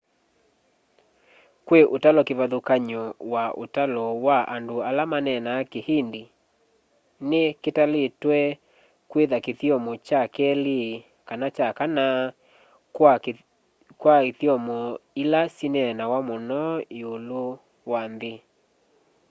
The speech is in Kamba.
kwi utalo kivathũkany'o wa ũtalo wa andũ ala maneneenaa kihindi ni kitalitwe kwitha kithyomo kya keli kana kya kana kwa ithyomo ila syineenawa mũno iũlu wa nthi